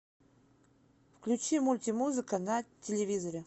включи мультимузыка на телевизоре